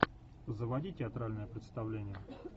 заводи театральное представление